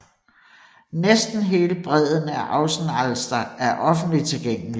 Næsten hele bredden af Außenalster er offentligt tilgængelig